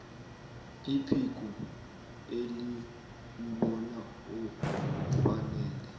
iphiko eliwubona ufanele